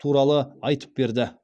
туралы айтып берді